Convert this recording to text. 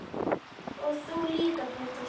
Og þú líka Pétur.